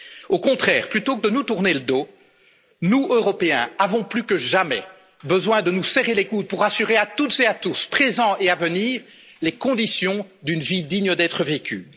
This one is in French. Au contraire, plutôt que de nous tourner le dos, nous, Européens, avons plus que jamais besoin de nous serrer les coudes pour assurer à toutes et à tous, présents et à venir, les conditions d'une vie digne d'être vécue.